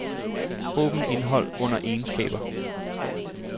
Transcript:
Åbn indhold under egenskaber.